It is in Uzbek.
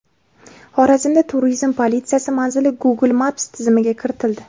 Xorazmda turizm politsiyasi manzili Google Maps tizimiga kiritildi.